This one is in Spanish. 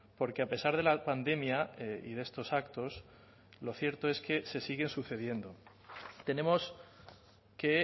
porque a pesar de la pandemia y de estos actos lo cierto es que se siguen sucediendo tenemos que